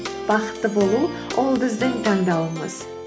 бақытты болу ол біздің таңдауымыз